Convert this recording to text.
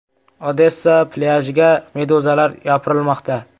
Odessa plyajiga meduzalar yopirilmoqda .